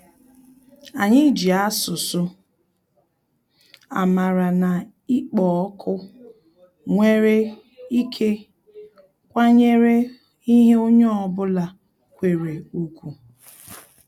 Anyị ji asụsụ amara na-ịkpọ òkù nwere ike kwanyere ihe onye ọ bụla kwere ùgwù